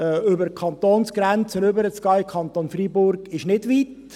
Über die Kantonsgrenze zu gehen, in den Kanton Freiburg, ist nicht weit.